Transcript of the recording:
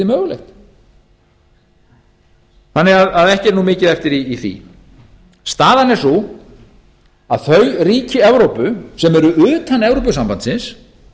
mögulegt þannig að ekki er mikið eftir í því staðan er sú að þau ríki evrópu sem eru utan evrópusambandsins